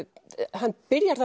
hann byrjar